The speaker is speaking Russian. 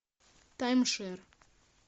таймшер